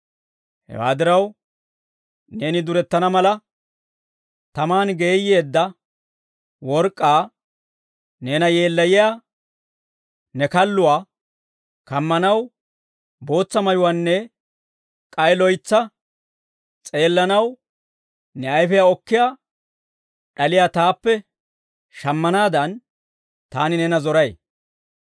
Hewaa diraw, neeni durettana mala, tamaan geeyyeedda work'k'aa, neena yeellayiyaa ne kalluwaa kammanaw bootsa mayuwaanne k'ay loytsa s'eellanaw ne ayfiyaa okkiyaa d'aliyaa taappe shammanaadan, taani neena zoray.